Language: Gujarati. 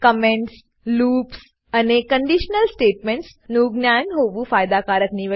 કમેન્ટ્સ લૂપ્સ અને કન્ડિશનલ સ્ટેટમેન્ટ્સ નું જ્ઞાન હોવું ફાયદાકારક નીવડશે